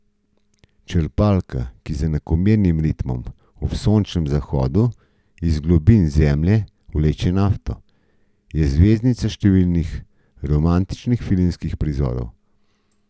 Črpalka, ki z enakomernim ritmom ob sončnem zahodu iz globin Zemlje vleče nafto, je zvezdnica številnih romantičnih filmskih prizorov.